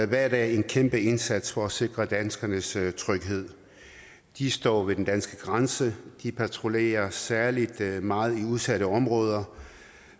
hver dag en kæmpe indsats for at sikre danskernes tryghed de står ved den danske grænse de patruljerer særlig meget i udsatte områder